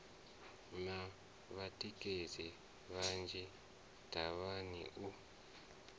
na vhatikedzi vhanzhi davhana u